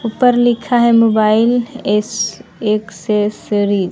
ऊपर लिखा है मोबाइल एस एक्सेसरी ।